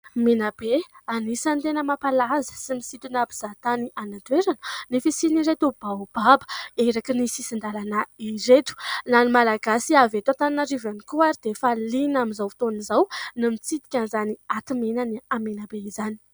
Menabe. Anisany tena mampahalaza sy misintona mpizahatany any an-toerana ny fisian' ireto baobaba erakin'ny sisin-dalana ireto. Na ny malagasy avy eto Antananarivo ihany koa ary dia efa liana amin'izao fotoana izao ny mitsidika izany aty menan'ny Menabe izany.